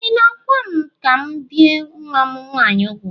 Ị na-agwa m ka m bie nwa m nwaanyị úgwù?